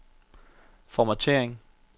formattering